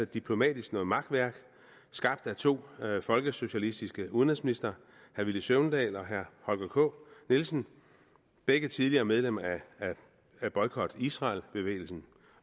diplomatisk noget makværk skabt af to folkesocialistiske udenrigsministre herre villy søvndal og herre holger k nielsen begge tidligere medlemmer af boykot israel bevægelsen